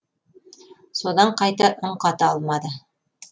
содан қайта үн қата алмады